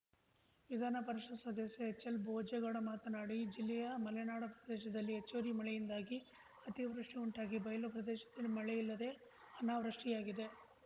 ವಿಧಾನಪರಿಷತ್‌ ಸದಸ್ಯ ಎಚ್ಎಲ್‌ಬೋಜೇಗೌಡ ಮಾತನಾಡಿ ಜಿಲ್ಲೆಯ ಮಲೆನಾಡು ಪ್ರದೇಶದಲ್ಲಿ ಹೆಚ್ಚುವರಿ ಮಳೆಯಿಂದಾಗಿ ಅತಿವೃಷ್ಟಿಉಂಟಾಗಿ ಬಯಲು ಪ್ರದೇಶದಲ್ಲಿ ಮಳೆಯಿಲ್ಲದೆ ಅನಾವೃಷ್ಟಿಯಾಗಿದೆ